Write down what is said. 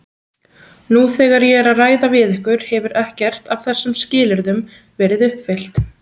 Nú þegar ég er að ræða við ykkur hefur ekkert af þessum skilyrðum verið uppfyllt.